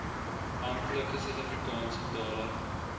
amptelike suidafrikaanse tale